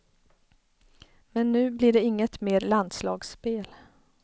Men nu blir det inget mer landslagsspel.